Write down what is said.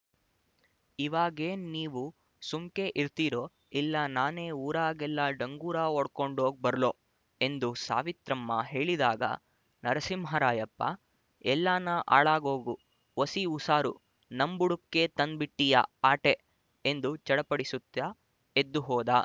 ಇವಾಗೇನ್ ನೀವು ಸುಮ್ಕೆ ಇರ್ತೀರೊ ಇಲ್ಲ ನಾನೆ ಊರಾಗೆಲ್ಲ ಡಂಗೂರ ವೊಡ್ಕಂಡ್ ವೋಗ್ ಬರ್ಲೊ ಎಂದು ಸಾವಿತ್ರಮ್ಮ ಹೇಳಿದಾಗ ನರಸಿಂಹರಾಯಪ್ಪ ಎಲ್ಲಾನ ಆಳಾಗೋಗು ಒಸಿ ಉಸಾರು ನಮ್ ಬುಡಕ್ಕೇ ತಂದ್ ಬಿಟ್ಟೀಯ ಆಟೇ ಎಂದು ಚಡಪಡಿಸುತ್ತ ಎದ್ದು ಹೋದ